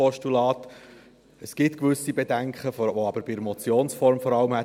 Es gibt gewisse Bedenken, die aber vor allem bei der Motionsform vorgeherrscht hätten.